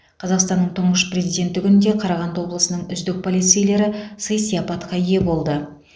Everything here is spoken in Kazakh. қазақстанның тұңғыш президенті күнінде қарағанды облысының үздік полицейлері сый сияпатқа ие болды